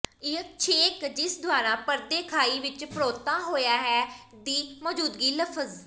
ਇਹ ਛੇਕ ਜਿਸ ਦੁਆਰਾ ਪਰਦੇ ਖਾਈ ਵਿਚ ਪਰੋਤਾ ਹੋਇਆ ਹੈ ਦੀ ਮੌਜੂਦਗੀ ਲਫ਼ਜ਼